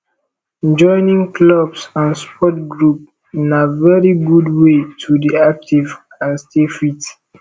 joining clubs and sport group na very good wey to dey active and stay fit